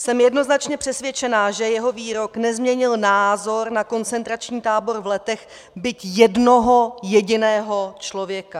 Jsem jednoznačně přesvědčena, že jeho výrok nezměnil názor na koncentrační tábor v Letech byť jednoho jediného člověka.